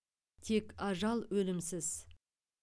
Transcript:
тек ажал өлімсіз